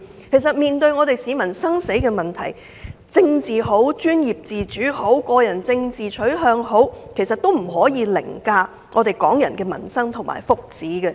其實，面對市民生死攸關的問題，無論是政治、專業自主、個人政治取向等，都不可以凌駕於港人的民生福祉。